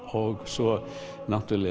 og svo